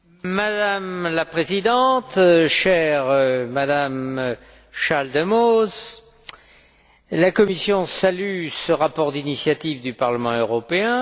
Madame la Présidente, Madame Schaldemose, la Commission salue ce rapport d'initiative du Parlement européen.